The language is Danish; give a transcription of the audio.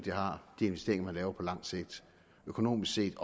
de investeringer man laver på lang sigt økonomisk set